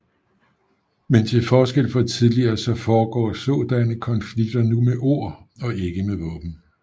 Men til forskel fra tidligere så foregår sådanne konflikter nu med ord og ikke med våben